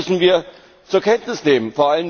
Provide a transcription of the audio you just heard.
Das müssen wir zur Kenntnis nehmen.